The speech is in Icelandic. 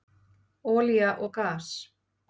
Olía og gas